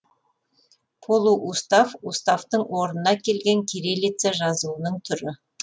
полуустав уставтың орнына келген кириллица жазуының түрі